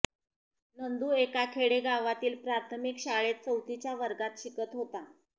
नंदू एका खेडेगावातील प्राथमिक शाळेत चौथीच्या वर्गात शिकत होता